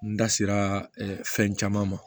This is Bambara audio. N da sera fɛn caman ma